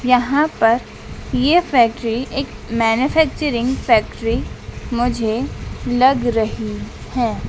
यहां पर ये फैक्ट्री एक मैन्युफैक्चरिंग फैक्ट्री मुझे लग रही है।